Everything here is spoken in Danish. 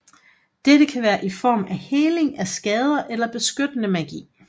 Dette kan være i form af heling af skader eller beskyttende magi